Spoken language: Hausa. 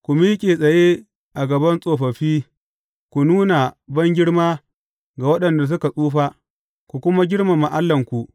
Ku miƙe tsaye a gaban tsofaffi, ku nuna bangirma ga waɗanda suka tsufa, ku kuma girmama Allahnku.